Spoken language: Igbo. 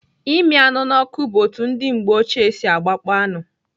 Ịmị anụ n'ọkụ bụ otu ndị mgbe ochie si gbakpọọ anụ.